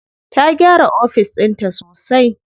Ta gyara ofis ɗinta sosai.